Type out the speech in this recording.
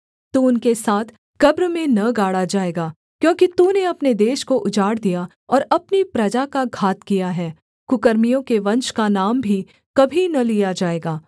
तू उनके साथ कब्र में न गाड़ा जाएगा क्योंकि तूने अपने देश को उजाड़ दिया और अपनी प्रजा का घात किया है कुकर्मियों के वंश का नाम भी कभी न लिया जाएगा